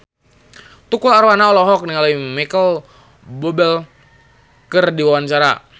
Tukul Arwana olohok ningali Micheal Bubble keur diwawancara